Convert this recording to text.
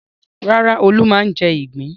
Rárá, Olú máa ń jẹ ìgbín.